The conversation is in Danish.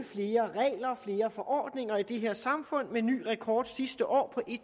flere forordninger i det her samfund med ny rekord sidste år